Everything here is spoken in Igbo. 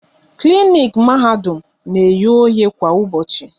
Klinik Mahadum na eghe oghe kwa ụbọchị